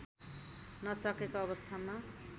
नसकेको अवस्थामा